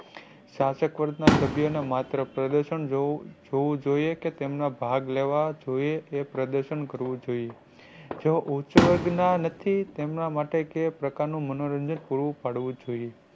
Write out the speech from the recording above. સાથક વર્ગ ના સભ્યો ને માત્ર પ્રદર્શન જોવું જોવું જોઈએ કે તેમના ભાગ લેવા જોઈએ એ પ્રદર્શન કરવું જોઈએ. જેઓ ઉચ્ચ વર્ગ ના નથી તેમના માટે કયા પ્રકાર નું મનોરંજન પૂરું પાડવું જોઈએ.